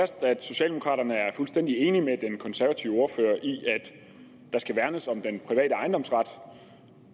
fast at socialdemokraterne er fuldstændig enige med den konservative ordfører i at der skal værnes om den private ejendomsret